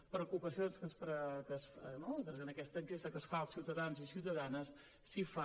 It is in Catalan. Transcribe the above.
la preocupació en aquesta enquesta que es fa als ciutadans i ciutadanes s’hi fa